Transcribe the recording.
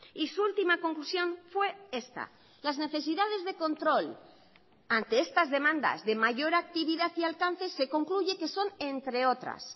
y su última conclusión fue esta las necesidades de control ante estas demandas de mayor actividad y alcance se concluye que son entre otras